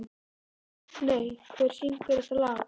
Magney, hver syngur þetta lag?